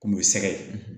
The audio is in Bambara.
Kun bɛ sɛgɛ ye